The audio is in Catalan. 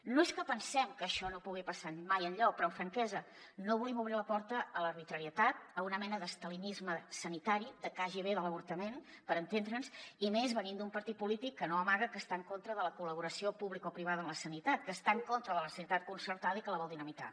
no és que pensem que això no pugui passar mai enlloc però amb franquesa no volem obrir la porta a l’arbitrarietat a una mena d’estalinisme sanitari de kgb de l’avor·tament per entendre’ns i més venint d’un partit polític que no amaga que està en contra de la col·laboració publicoprivada en la sanitat que està en contra de la sanitat concertada i que la vol dinamitar